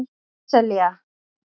Sesselja